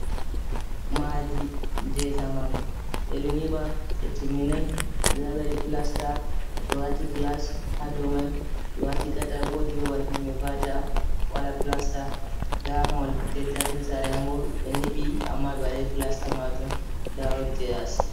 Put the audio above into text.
Maadi jay jamanu ɓe ɗo nyiba ɓe timminaayi nda ɓe waɗi pilasta ɓe waati gilas haa dow mai ɓe waati kataakooji babal himɓe va"ata waɗa pilasta ndaa mahol jay taarni saare man boo ɓe nyibi amma ɓe waɗaayi pilasta majum ndaa rodje yaasi.